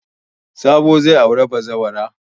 Sabo zai auri bazawara.